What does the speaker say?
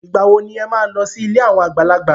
Ìgbà wo ni ẹ máa lọ sí ilé àwọn àgbàlagbà?